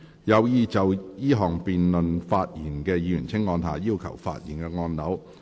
有意就這項議案發言的議員請按下"要求發言"按鈕。